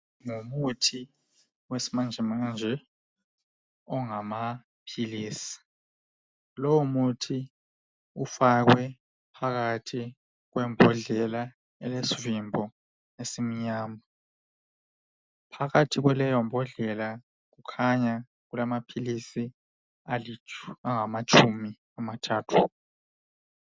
Lomuthi besmanjemanje ongamaphilisi, lomuthi ufakwe phakathi kwebhodlela elesvimbo esimnyama. Phakathi kwaleyobhodlela kukhanya kulamaphilisi amatshumi amathathu.